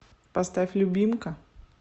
поставь любимка